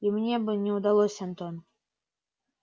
и мне бы не удалось антон